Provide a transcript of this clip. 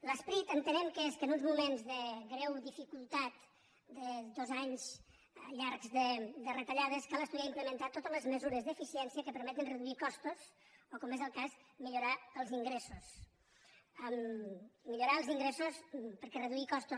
l’esperit entenem que és que en uns moments de greu dificultat de dos anys llargs de retallades cal estudiar i implementar totes les mesures d’eficiència que permeten reduir costos o com és el cas millorar els ingressos millorar els ingressos perquè reduir costos